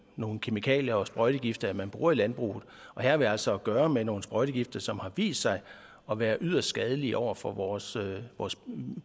nogle kemikalier og sprøjtegifte man bruger i landbruget og her har vi altså at gøre med nogle sprøjtegifte som har vist sig at være yderst skadelige over for vores